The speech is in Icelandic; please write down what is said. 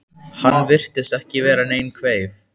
Hann virtist ekki vera nein kveif?